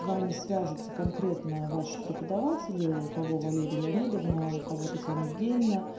с вами свяжутся конкретно ваши преподаватели у кого валерия леонидовна у кого татьяна евгеньевна